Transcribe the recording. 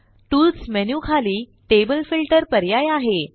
tools menu खाली table filter पर्याय आहे